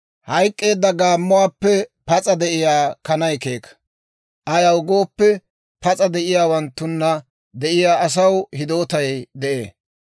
Hayk'k'eedda gaammuwaappe pas'a de'iyaa kanay keeka; ayaw gooppe, pas'a de'iyaawanttunna de'iyaa asaw hidootay de'ee.